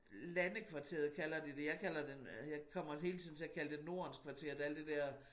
Landekvarteret kalder de det jeg kalder det øh jeg kommer hele tiden til at kalde det nordens kvarter der alt det dér